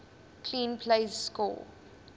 clean plays score